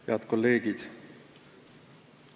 Head kolleegid!